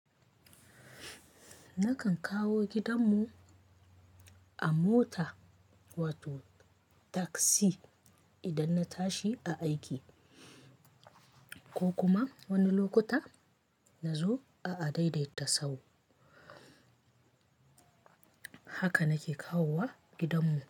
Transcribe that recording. Na kan kawo gidan mu a mota wato taksi idan na tashi a aiki ko kuma wani lokuta na zo a adaidaita sahu. Haka nake kawowa gidan mu.